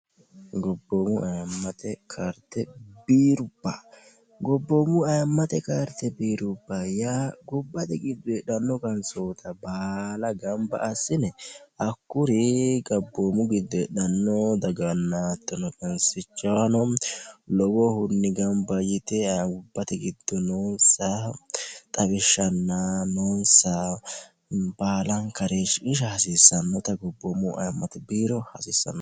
gobboomu ayiimmate karte biirubba gobboommu ayimmate karte biirubba yaa gobbate giddueedhanno kansoota baala gamba assine akkuri gabboommu giddoedhanno dagannaatino tensichaano lowoohunni gamba yitegubbate giddu noonsa xabishshanna noonsa baalankareeshshi isha hasiissannota gobboommo ayimmate biiro hasiissanno